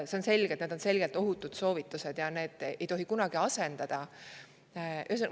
On selge, et need soovitused on selgelt ohutud.